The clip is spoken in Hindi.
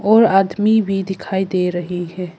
और आदमी भी दिखाई दे रहे हैं।